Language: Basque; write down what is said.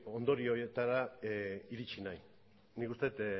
ondorio horietara iritzi nahi nik uste dut